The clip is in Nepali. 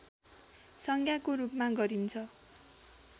संज्ञाको रूपमा गरिन्छ